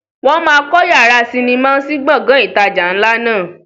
Wọn má kọ yàrá sinimá sí Gbọ̀ngán ìtajà ńlá náà